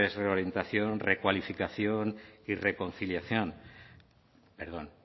reorientación recualificación y reconciliación perdón